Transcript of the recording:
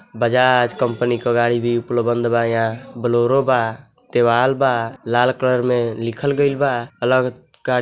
Bajaj company क गाड़ी भी उपलबंध बा यहाँ बोलोरो बा दीवाल बा लाल कलर में लिखल गई बा अलग का --